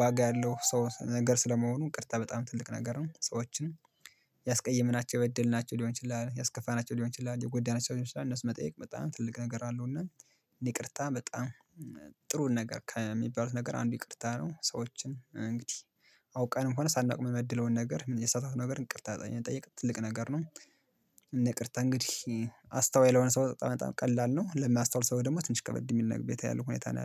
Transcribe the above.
ዋጋ ያለው ሰው ነገር ስለመሆኑ ይቅርታ በጣም ትልቅ ነገር ነው። ሰዎችን ያስቀየመናቸው እድል ናቸው ሊሆን ይችላል ያስከፋናቸው ሊሆን ይችላል የጎዳናቸው ሊሆን ይችላል እነሱን መጠየቅ በጣም ትልቅ ነገር አለው። እና ይቅርታ በጣም ጥሩ ነገር ከሚባሉት ነገር አንዱ ይቅርታ ነው። ሰዎችን እንግዲህ አውቀንምሆነ ሳናውቅ የምንበድለውን ነገር የተሳሳትነውን ነገር እንቅርታ ጠየቅ ትልቅ ነገር ነው። እንቅርታ እንግዲህ አስተዋይ ለሆነ ሰው በጣም ቀላል ነው ለሚያስተዋል ሰው ደግሞ ትንሽ ከበድ የሚል ቤት ያለው ሁኔታ ነው